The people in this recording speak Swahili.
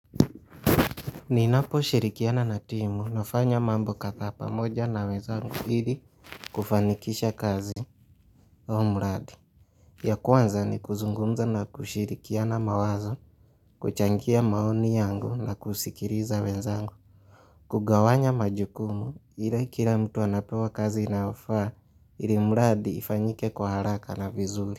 Ninaposhirikiana na timu nafanya mambo kadha pamoja na wezangu ili kufanikisha kazi au mradi. Ya kwanza ni kuzungumza na kushirikiana mawazo kuchangia maoni yangu na kusikiliza wezangu. Kugawanya majukumu ila kila mtu anapewa kazi inayofaa ili mradi ifanyike kwa haraka na vizuri.